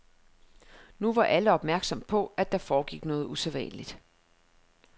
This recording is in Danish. Nu var alle opmærksomme på, at der foregik noget usædvanligt.